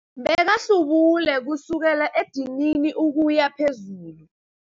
Bekahlubule kusukela edinini ukuya phezulu.